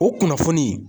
O kunnafoni